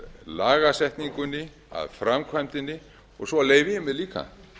lagasetningunni að framkvæmdinni og svo leyfi ég mér líka